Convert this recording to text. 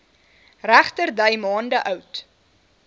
regterdy maande oud